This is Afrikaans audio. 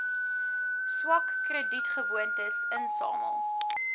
swak kredietgewoontes insamel